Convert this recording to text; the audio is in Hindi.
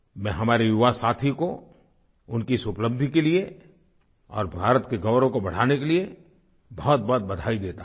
मैं हमारे युवा साथी को उनकी इस उपलब्धि के लिए और भारत के गौरव को बढाने के लिए बहुतबहुत बधाई देता हूँ